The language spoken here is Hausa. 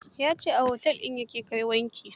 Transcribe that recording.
Ya ce a otel din ya ke kai wanki.